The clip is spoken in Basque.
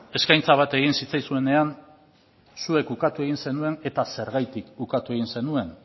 eskaintza egin zitzaizunean zuek ukatu egin zenuen eta zergatik ukatu egin zenuen